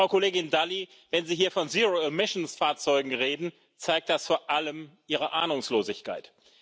Frau Kollegin Dalli, wenn Sie hier von Fahrzeugen reden, zeigt das vor allem ihre Ahnungslosigkeit.